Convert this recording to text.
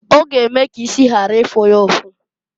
Ọ g'eme k' isi ghara ịfụ ya ụfụ.